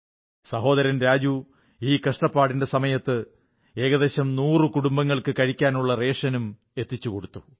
സഹോദരൻ രാജു ഈ കഷ്ടപ്പാടിന്റെ സമയത്ത് ഏകദേശം നൂറു കുടുംബങ്ങൾക്ക് കഴിക്കാനുള്ള റേഷനും എത്തിച്ചുകൊടുത്തു